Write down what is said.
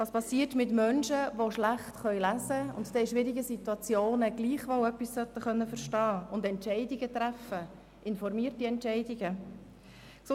Was geschieht mit Menschen, die schlecht lesen können, in schwierigen Situationen gleichwohl etwas verstehen und informierte Entscheide fällen sollen?